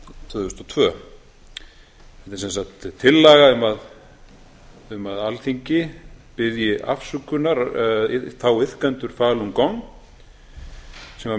tvö þúsund og tvö þetta er sem sagt tillaga um að alþingi biðji afsökunar þá iðkendur falun gong sem var